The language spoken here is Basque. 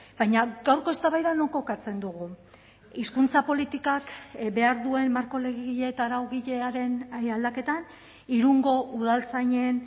baina gaurko eztabaida non kokatzen dugu hizkuntza politikak behar duen marko legegile eta araugilearen aldaketan irungo udaltzainen